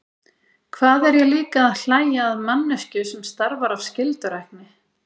Hvað er ég líka að hlæja að manneskju sem starfar af skyldurækni?